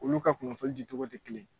Olu ka kunnafoni di cogo tɛ kelen ye.